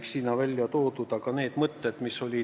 Mis puudutab üürimajasid, siis seda teemat me käsitlesime eraldi.